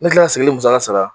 Ne kila ka sigili musaka sara